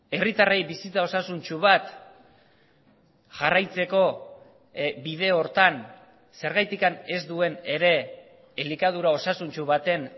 herritarrei bizitza osasuntsu bat jarraitzeko bide horretan zergatik ez duen ere elikadura osasuntsu baten